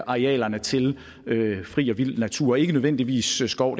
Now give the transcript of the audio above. arealerne til fri og vild natur ikke nødvendigvis skov